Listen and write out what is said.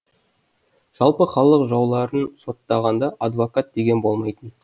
жалпы халық жауларын соттағанда адвокат деген болмайтын